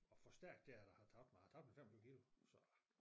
At forstærke det at jeg har tabt mig jeg tabte jo 25 kilo så